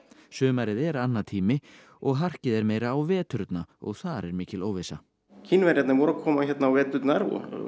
sumarið er annatími og harkið er meira á veturna og þar er mikil óvissa Kínverjarnir voru að koma hérna á veturna